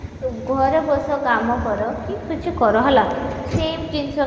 ଘରେ ବସ କାମ କର କି କିଛିନ କଳାର ହେଲା same ଜିନିଷ